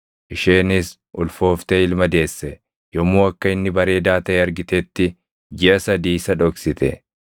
isheenis ulfooftee ilma deesse. Yommuu akka inni bareedaa taʼe argitetti jiʼa sadii isa dhoksite.